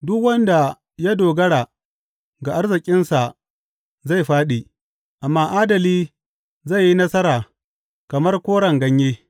Duk wanda ya dogara ga arzikinsa zai fāɗi, amma adali zai yi nasara kamar koren ganye.